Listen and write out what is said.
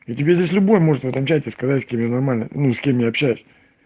да тебе здесь любой может в этом чате сказать с кем я нормально ну с кем я общаюсь